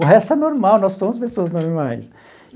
O resto é normal, nós somos pessoas normais.